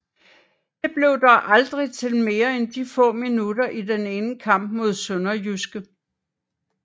Det blev dog aldrig til mere end de få minutter i den ene kamp mod SønderjyskE